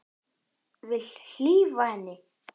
Vil hlífa henni.